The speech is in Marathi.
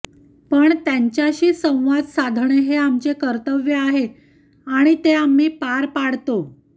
पण त्यांच्याशी संवाद साधणे हे आमचे कर्तव्य आहे आणि ते आम्ही पार पडतो